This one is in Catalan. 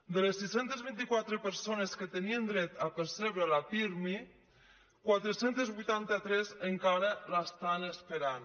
de les sis cents i vint quatre persones que tenien dret a percebre la pirmi quatre cents i vuitanta tres encara l’estan esperant